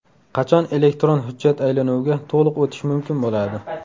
Qachon elektron hujjat aylanuviga to‘liq o‘tish mumkin bo‘ladi?